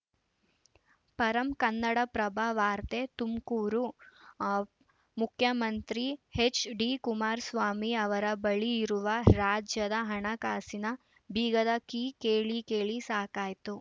ಪರಂ ಕನ್ನಡಪ್ರಭ ವಾರ್ತೆ ತುಮಕೂರು ಅ ಮುಖ್ಯಮಂತ್ರಿ ಎಚ್‌ಡಿಕುಮಾರಸ್ವಾಮಿ ಅವರ ಬಳಿ ಇರುವ ರಾಜ್ಯದ ಹಣಕಾಸಿನ ಬೀಗದ ಕೀ ಕೇಳಿ ಕೇಳಿ ಸಾಕಾಯ್ತು